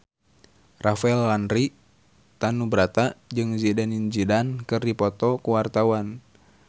Rafael Landry Tanubrata jeung Zidane Zidane keur dipoto ku wartawan